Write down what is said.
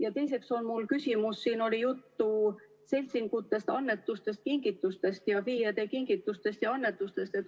Ja teiseks on mul küsimus selle kohta, et siin oli juttu seltsingutest, annetustest, kingitustest, ka FIE-de kingitustest ja annetustest.